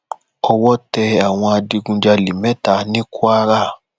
owó tẹ àwọn adigunjalè mẹta ní kwara